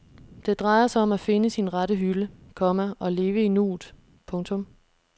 Det drejer sig om at finde sin rette hylde, komma og leve i nuet. punktum